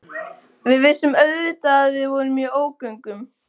Við vissum auðvitað að við vorum í ógöngum.